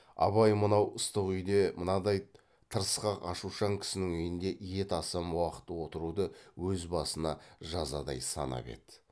абай мынау ыстық үйде мынадай тырысқақ ашушаң кісінің үйінде ет асым уақыт отыруды өз басына жазадай санап еді